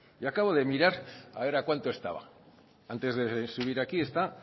yo acabo de mirar a ver a cuánto estaba antes de subir aquí está